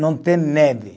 Não tem neve.